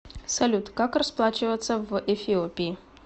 салют как расплачиваться в эфиопии